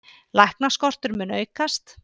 Læknaskortur mun aukast